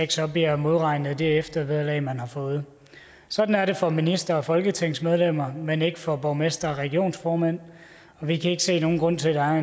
job bliver modregnet i det eftervederlag man har fået sådan er det for ministre og folketingsmedlemmer men ikke for borgmestre og regionsformænd og vi kan ikke se nogen grund til at